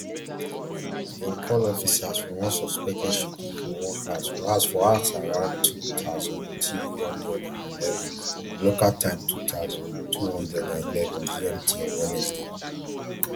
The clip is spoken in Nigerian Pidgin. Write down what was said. dem call officers for one suspected shooting for one house for house for hovsj around two thousand, three hundred and eleven local time two thousand, two hundred and eleven gmt on wednesday